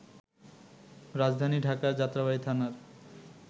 রাজধানী ঢাকার যাত্রাবাড়ী থানার